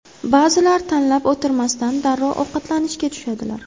Ba’zilar tanlab o‘tirmasdan darrov ovqatlanishga tushadilar.